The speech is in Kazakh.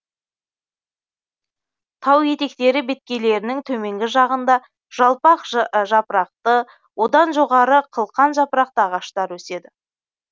тау етектері беткейлерінің төменгі жағында жалпақ жапырақты одан жоғары қылқан жапырақты ағаштар өседі